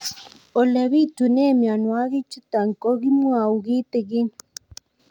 Ole pitune mionwek chutok ko kimwau kitig'ín